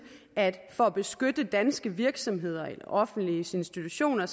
at for at beskytte danske virksomheder og offentlige institutioner